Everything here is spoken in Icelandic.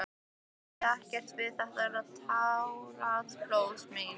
Ég ræð ekkert við þessi táraflóð mín.